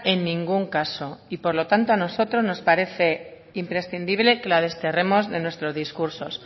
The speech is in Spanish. en ningún caso y por lo tanto a nosotros nos parece imprescindible que la desterremos de nuestros discursos